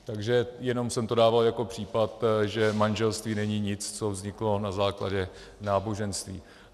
Takže jenom jsem to dával jako případ, že manželství není nic, co vzniklo na základě náboženství.